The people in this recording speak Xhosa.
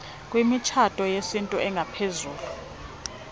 kwimitshato yesintu engaphezulu